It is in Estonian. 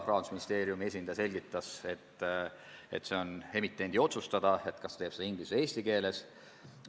Rahandusministeeriumi esindaja selgitas, et see on emitendi otsustada, kas prospekt tehakse inglise või eesti keeles.